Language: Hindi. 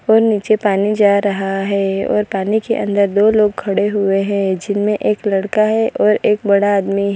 और नीचे पानी जा रहा है और पानी के अंदर दो लोग खड़े हुए हैं जिनमें एक लड़का है और एक बड़ा आदमी है।